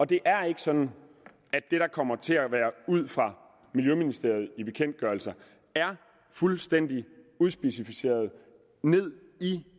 det er ikke sådan at det der kommer fra miljøministeriet i bekendtgørelser er fuldstændig udspecificeret ned i